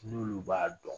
N'olu b'a dɔn